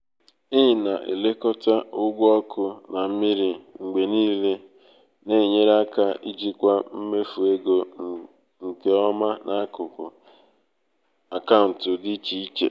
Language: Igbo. ị na-elekọta ụgwọ ọkụ na mmiri mgbe niile na-enyere aka ijikwa mmefu ego nke ọma n'akụkụ akaụntụ dị iche iche.